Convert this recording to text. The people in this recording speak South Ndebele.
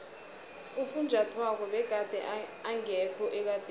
ufunjathwako begade engekho ekadeni